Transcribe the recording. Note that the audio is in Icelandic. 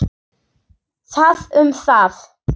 Það um það.